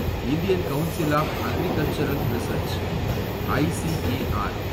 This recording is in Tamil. Indian council of agricultural research , ICAR